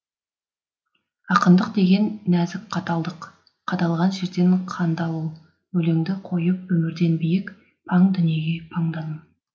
ақындық деген нәзік қаталдық қадалған жерден қанды алу өлеңді қойып өмірден биік паң дүниеге паңдану